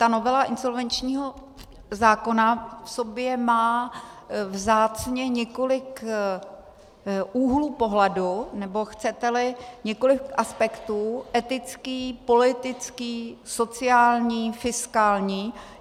Ta novela insolvenčního zákona v sobě má vzácně několik úhlů pohledu, nebo chcete-li, několik aspektů - etický, politický, sociální, fiskální.